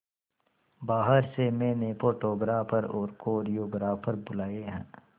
बाहर से मैंने फोटोग्राफर और कोरियोग्राफर बुलाये है